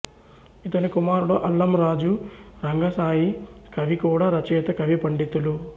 ఇతని కుమారుడు అల్లంరాజు రంగశాయి కవి కూడా రచయిత కవి పండితులు